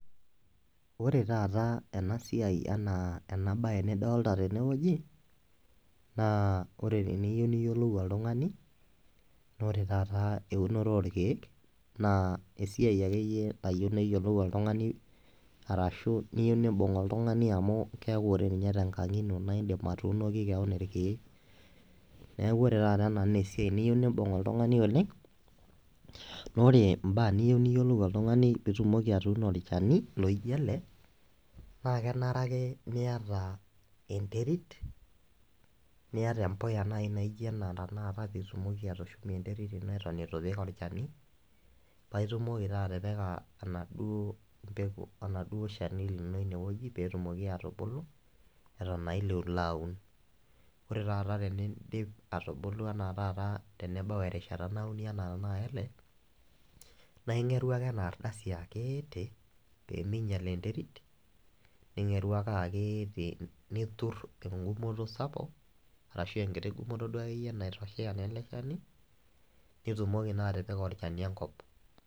Orev taata enasiai, enabae nidolita tenewueji na ore teniyieu niyiolou oltungani, ore taata eunoto orkiek na esiai akeyieu nayieu niyolou oltungani arashu nibungu oltungani amu keaku nye tenkang ino indim atuunoki keon irkiek neaku ore nai ena na esiai niyieu nimbung oltungani oleng na ore mbaa niyieu nimbung oltungani peitumoki atuuno olchani loijeele na kenare ake niata enteit niata empuya naijo ena pitumoki atushumie enterit ata iti ipik olchani paitumoki na atipika enaduo peku, oladuo shani lino petumoki atibulu eton nabitu ilo aun, ore na teneidip atubulu ana tenebau erishata ana nai ele naigeru ake enaardasi akiti pemeinyal enterit ningeru ake aketi nitut engumoto sapuk arashu enkiti gumoto akeyie naitoshea eleshani nitumoki n atipika olchani enkop.